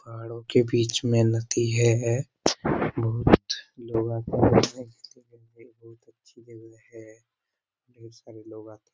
पहाड़ों के बीच में नदी है बहुत लोग आकर बहुत अच्छी जगह है ढ़ेर सारे लोग आते है।